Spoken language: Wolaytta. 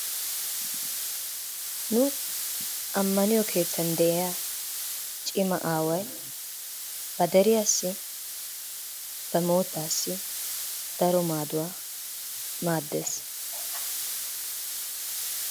Nu ammaniyo kettaan de'iyaa cima awaay ba deriyassi ba mottaassi daro maaduwa maddes.